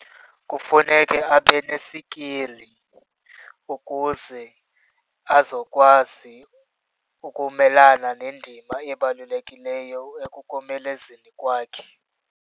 Kufuneke abe nesikili ukuze azokwazi ukumelana nendima ebalulekileyo ekukomelezeni kwakhe.